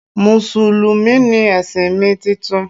musulumi ni ẹ̀sìn mi titun